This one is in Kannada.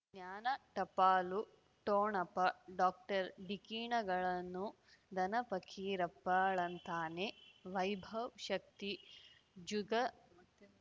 ಜ್ಞಾನ ಟಪಾಲು ಠೊಣಪ ಡಾಕ್ಟರ್ ಢಿಕ್ಕಿ ಣಗಳನು ಧನ ಪಕೀರಪ್ಪ ಳಂತಾನೆ ವೈಭವ್ ಶಕ್ತಿ ಜುಗ